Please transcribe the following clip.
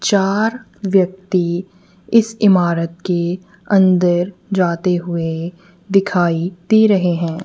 चार व्यक्ति इस इमारत के अंदर जाते हुए दिखाई दे रहे हैं।